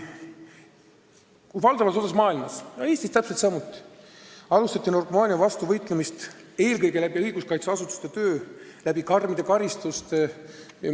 Valdavas osas maailmast, Eestis täpselt samuti, alustati narkomaania vastu võitlemist eelkõige õiguskaitseasutuste töö ja karmide karistustega.